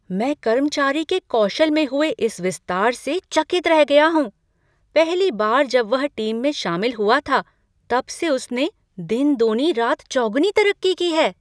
मैं कर्मचारी के कौशल में हुए इस विस्तार से चकित रह गया हूँ, पहली बार जब वह टीम में शामिल हुआ था, तब से उसने दिन दूनी रात चौगुनी तरक्की की है।